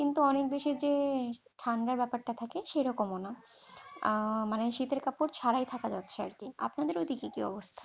কিন্ত অনেক বেশি যে ঠাণ্ডার ব্যাপারটা থাকে সেইরকমও নয়, আহ মানে শীতের কাপড় ছাড়াই থাকা যাচ্ছে আর কি, আপনাদের ওইদিকে কি অবস্থা?